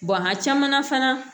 a caman na fana